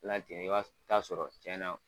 Lajɛlen i ba taa sɔrɔ cɛn na